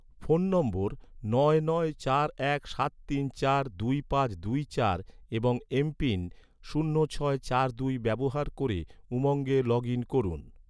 phone নম্বর নয় নয় চার এক সাত তিন চার দুই পাঁচ দুই চার এবং এমপিন শূন্য ছয় চার দুই ব্যবহার ক’রে, উমঙ্গে লগ ইন করুন